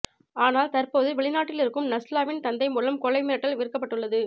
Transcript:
ஆனால் தற்போது வெளிநாட்டில் இருக்கும் நஸ்லாவின் தந்தை மூலம் கொலை மிரட்டல் விடுக்கப்பட்டுள்ளது